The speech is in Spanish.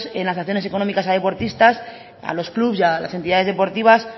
en las sanciones económicas a deportistas a los clubs y a las entidades deportivas